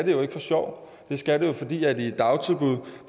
jo ikke for sjov det skal det jo fordi børn i et dagtilbud